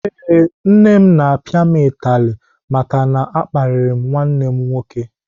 Ee, nne m na-apịa m utali maka na m kparịrị nwanne m nwoke.